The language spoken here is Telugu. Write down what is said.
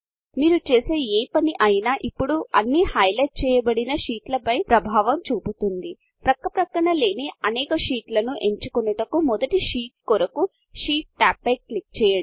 మీరు చేసే ఏ పని అయినా ఇప్పుడు అన్ని హైలైట్ చేయబడిన షీట్ల పై ప్రభావం చూపుతుంది పక్కపక్కన లేని అనేక షీట్లను ఎంచుకొనుటకు మొదటి షీట్ కొరకు షీట్ టాబ్ పై క్లిక్ చేయండి